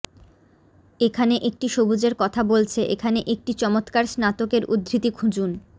এখানে একটি সবুজের কথা বলছে এখানে একটি চমৎকার স্নাতকের উদ্ধৃতি খুঁজুন